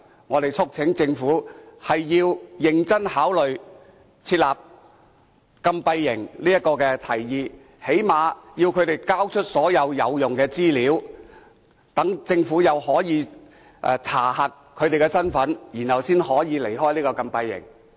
我們促請政府認真考慮設立禁閉營這項提議，至少要他們交出所有有用的資料，讓政府可以先查核他們的身份，才讓他們離開禁閉營。